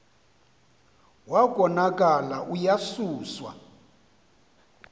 wa konakala uyasuswa